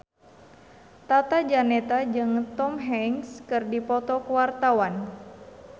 Tata Janeta jeung Tom Hanks keur dipoto ku wartawan